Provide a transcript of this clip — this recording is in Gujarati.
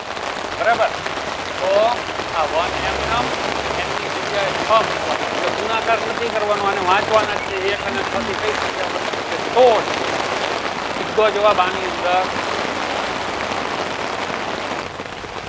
બરાબર તો આ વન m નામ અને m ની જગ્યાએ છ મુકવાના એટલે ગુણાકાર નથી કરવાનું આને વાંચવાના છે એક અને છ થી કઈ સંખ્યા બને તો કેહ સોળ સીધો જવાબ આની અંદર